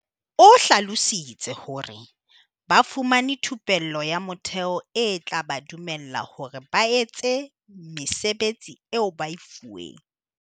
O hlalositse hore, "Ba fumane thupello ya motheo e tla ba dumella hore ba etse mesebetsi eo ba e fuweng."